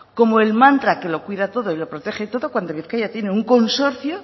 como el mantra que lo cuida todo y lo protege todo cuando bizkaia tiene un consorcio